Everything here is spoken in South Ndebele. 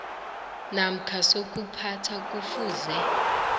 namkha sokuphatha kufuze